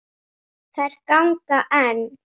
Þær ganga enn.